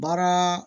Baara